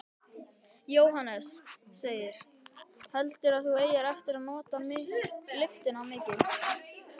Jóhannes: Heldurðu að þú eigir eftir að nota lyftuna mikið?